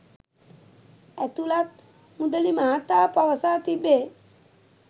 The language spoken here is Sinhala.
ඇතුලත් මුදලි මහතා පවසා තිබේ